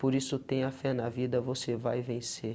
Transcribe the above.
Por isso, tenha fé na vida, você vai vencer.